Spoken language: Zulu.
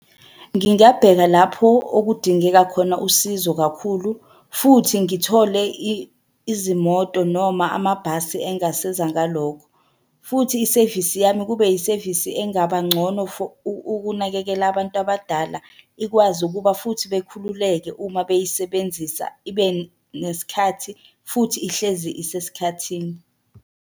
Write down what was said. Ngingabheka lapho okudingeka khona usizo kakhulu futhi ngithole izimoto noma amabhasi engasiza ngalokho, futhi isevisi yami kube yisevisi engaba ngcono for ukunakekela abantu abadala. Ikwazi ukuba futhi bekhululeke uma beyisebenzisa, ibe nesikhathi futhi ihlezi isesikhathini.